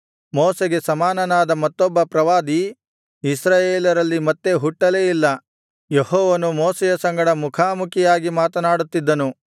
ಮೋಶೆಗೆ ಸಮಾನನಾದ ಮತ್ತೊಬ್ಬ ಪ್ರವಾದಿ ಇಸ್ರಾಯೇಲರಲ್ಲಿ ಮತ್ತೆ ಹುಟ್ಟಲೇ ಇಲ್ಲ ಯೆಹೋವನು ಮೋಶೆಯ ಸಂಗಡ ಮುಖಾಮುಖಿಯಾಗಿ ಮಾತನಾಡುತ್ತಿದ್ದನು